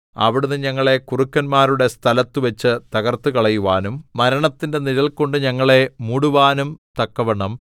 അവിടുന്ന് ഞങ്ങളെ കുറുക്കന്മാരുടെ സ്ഥലത്തുവച്ച് തകർത്തുകളയുവാനും മരണത്തിന്റെ നിഴൽകൊണ്ട് ഞങ്ങളെ മൂടുവാനും തക്കവണ്ണം